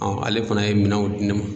ale fana ye minɛnw di ne ma.